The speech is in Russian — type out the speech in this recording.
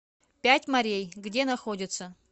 пять морей где находится